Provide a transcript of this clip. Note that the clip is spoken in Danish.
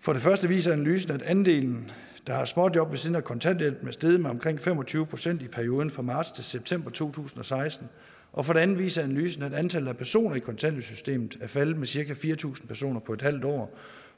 for det første viser analysen at andelen der har småjob ved siden af kontanthjælpen er steget med omkring fem og tyve procent i perioden fra marts til september to tusind og seksten og for det andet viser analysen at antallet af personer i kontanthjælpssystemet er faldet med cirka fire tusind personer på en halv år